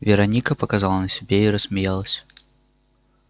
вероника показала на себе и рассмеялась